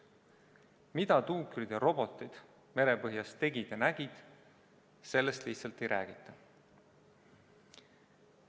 Mida tuukrid ja robotid merepõhjas tegid ja nägid, sellest lihtsalt ei räägita.